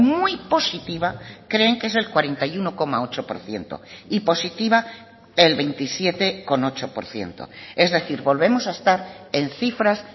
muy positiva creen que es el cuarenta y uno coma ocho por ciento y positiva el veintisiete coma ocho por ciento es decir volvemos a estar en cifras